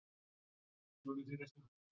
og strax kominn nýr.